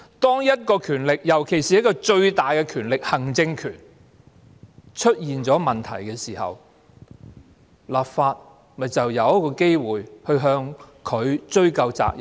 當一種權力，尤其是最大的權力——行政權——出現問題時，立法會便有機會向它追究責任。